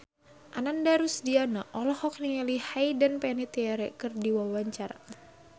Ananda Rusdiana olohok ningali Hayden Panettiere keur diwawancara